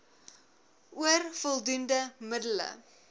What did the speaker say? oor voldoende middele